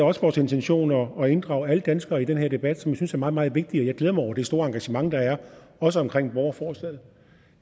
også vores intention at inddrage alle danskere i den her debat som jeg synes er meget meget vigtig og jeg glæder mig over det store engagement der er også omkring borgerforslaget